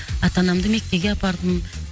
ата анамды меккеге апардым